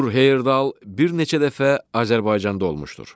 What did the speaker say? Tur Heyerdal bir neçə dəfə Azərbaycanda olmuşdur.